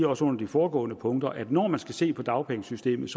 også under de foregående punkter at når man skal se på dagpengesystemet